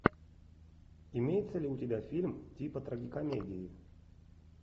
имеется ли у тебя фильм типа трагикомедии